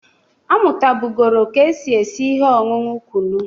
Ọ mụtabụgoro ka e si esi ihe ọñụñụ kụnụ.